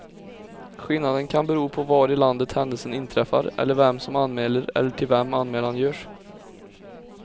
Skillnaden kan bero på var i landet händelsen inträffar eller vem som anmäler eller till vem anmälan görs.